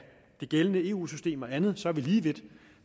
det gældende eu system og andet så er vi lige vidt